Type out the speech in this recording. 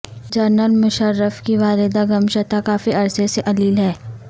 general Musharraf کی والدہ گمشتہ کافی عرصے سے علیل ہیں